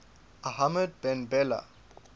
ahmed ben bella